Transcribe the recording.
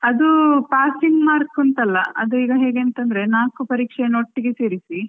ಅದು passing mark ಅಂತಲ್ಲ ಅದು ಈಗ ಹೇಗೆಂತಂದ್ರೆ ನಾಕು ಪರೀಕ್ಷೆನ ಒಟ್ಟಿಗೆ ಸೇರಿಸಿ.